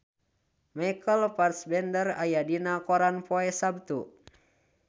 Michael Fassbender aya dina koran poe Saptu